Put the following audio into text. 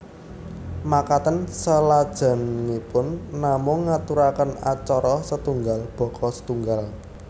Makaten salajengipun namung ngaturaken acara setunggal baka setunggal